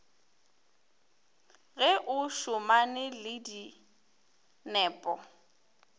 ge o šomane le dinepo